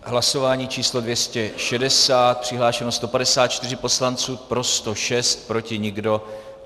Hlasování číslo 260, přihlášeno 154 poslanců, pro 106, proti nikdo.